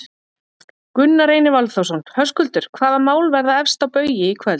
Gunnar Reynir Valþórsson: Höskuldur, hvaða mál verða efst á baugi í kvöld?